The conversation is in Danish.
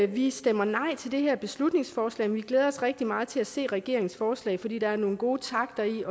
vi stemmer nej til det her beslutningsforslag men vi glæder os rigtig meget til at se regeringens forslag for der er nogle gode takter i